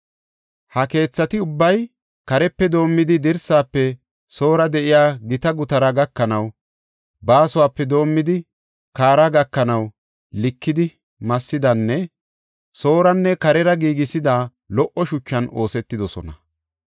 Ha keethati ubbay, karepe doomidi dirsaafe soora de7iya gita gutaraa gakanaw, baasuwape doomidi kaara gakanaw, likidi massidanne sooranne karera giigisida lo77o shuchan oosetidosona.